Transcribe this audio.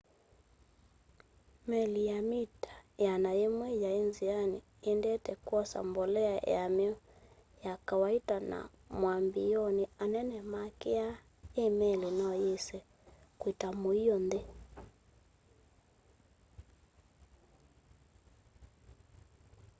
meli ya mita 100 yaĩ nzĩanĩ ĩendete kwosa mbolea yam'yo ya kawaita na mwambĩĩonĩ anene makĩaa i meli noyĩse kwĩta mũio nthĩ